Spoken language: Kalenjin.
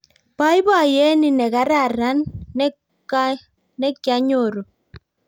Boiboiyet ni negararan nekyanyoru